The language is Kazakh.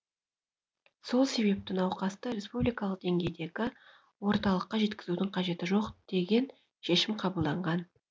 сол себепті науқасты республикалық деңгейдегі орталыққа жеткізудің қажеті жоқ деген шешім қабылданған